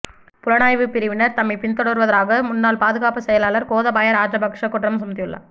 புலனாய்வுப் பிரிவினர் தம்மை பின் தொடர்வதாக முன்னாள் பாதுகாப்புச் செயலாளர் கோதபாய ராஜபக்ஸ குற்றம் சுமத்தியுள்ளார்